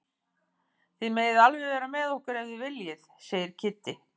Þið megið alveg vera með okkur ef þið viljið segir Kiddi.